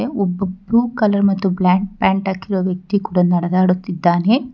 ಒಬ್ಬ blue colour ಮತ್ತು black pant ಹಾಕಿರೋ ವ್ಯಕ್ತಿ ಕೂಡಾ ನಡದಾಡುತ್ತಿದ್ದಾನೆ.